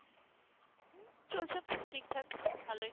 চলছে, ঠিক থাক ভালই